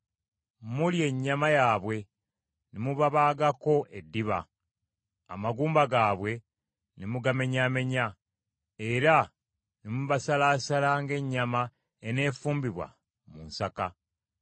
Mulya ennyama yaabwe, ne mubabaagako eddiba, amagumba gaabwe ne mugamenyaamenya, era ne mubasalaasala ng’ennyama eneefumbibwa mu nsaka.”